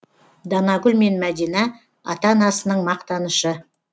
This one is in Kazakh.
данагүл мен мәдина ата анасының мақтанышы